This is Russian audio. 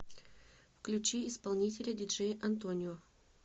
включи исполнителя диджей антонио